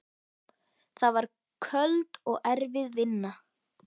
Það var köld og erfið vinna.